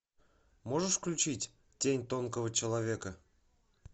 можешь включить тень тонкого человека